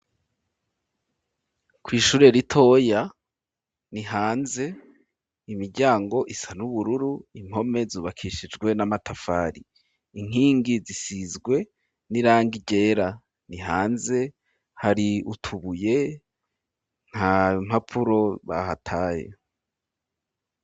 Kw' ishure ritoya ni hanze, imiryango isa n 'ubururu, impome zubakishijwe n'amatafari, inkingi zisizwe n'irang ryera, ni hanze hari utubuye, nta mpapfuro bahataye.